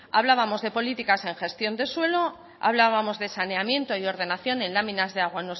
hablábamos de políticas en gestión de suelo hablábamos de saneamiento y ordenación en láminas de agua